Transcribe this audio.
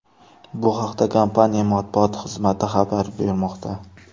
Bu haqda kompaniya matbuot xizmati xabar bermoqda.